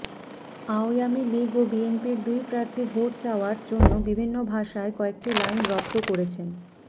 আওয়ামী লীগ ও বিএনপির দুই প্রার্থী ভোট চাওয়ার জন্য বিভিন্ন ভাষায় কয়েকটি লাইন রপ্ত করেছেন